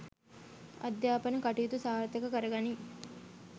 අධයාපන කටයුතු සාර්ථක කරගනී